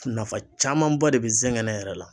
Nafa camanba de be n sɛŋɛn yɛrɛ la